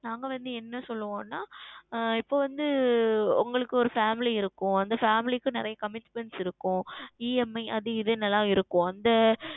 நாங்கள் வந்து என்ன சொல்லுவோம் என்றால் ஆஹ் இப்பொழுது வந்து உங்களுக்கு ஓர் Family இருக்கும் அந்த Family க்கும் நிறைய Commitments இருக்கும் EMI அது இது ல இருக்கும்